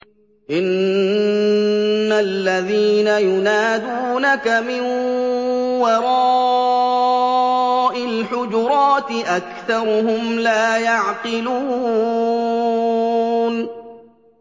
إِنَّ الَّذِينَ يُنَادُونَكَ مِن وَرَاءِ الْحُجُرَاتِ أَكْثَرُهُمْ لَا يَعْقِلُونَ